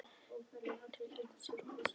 Til hjartans í þér og höfuðsins.